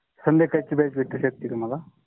संध्याकाळची वेळ भेटु शकटे का मला?